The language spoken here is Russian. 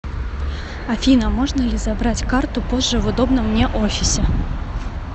афина можно ли забрать карту позже в удобном мне офисе